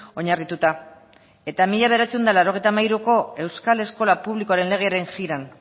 oinarrituta eta mila bederatziehun eta laurogeita hamairuko euskal eskola publikoaren legearen biran